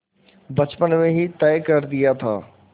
बचपन में ही तय कर दिया था